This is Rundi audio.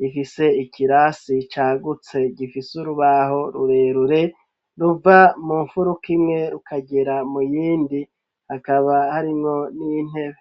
rihese ikirasi cagutse gifise urubaho rurerure ruva mu mfuruka imwe rukagera mu yindi hakaba harinwo n'intebe